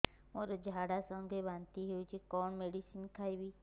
ମୋର ଝାଡା ସଂଗେ ବାନ୍ତି ହଉଚି କଣ ମେଡିସିନ ଖାଇବି